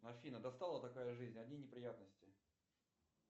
афина достала такая жизнь одни неприятности